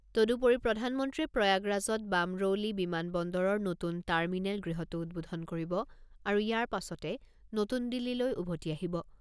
তদুপৰি প্ৰধানমন্ত্ৰীয়ে প্ৰয়াগৰাজত বামৰৌলি বিমান বন্দৰৰ নতুন টাৰ্মিনেল গৃহটো উদ্বোধন কৰিব আৰু ইয়াৰ পাছতে নতুন দিল্লীলৈ উভতি আহিব।